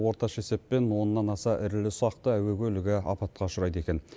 орташа есеппен оннан аса ірілі ұсақты әуе көлігі апатқа ұшырайды екен